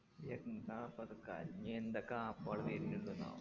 എന്താപ്പാ അത് ഞി എന്തൊക്കെ app കള് വെരുന്ന്ണ്ട് ആ